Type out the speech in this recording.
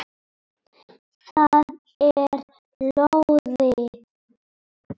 Það er lóðið.